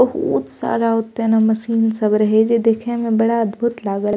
बहुत सारा ओते ने मशीन सब रहे जे देखे में बड़ा अद्भुत लागल।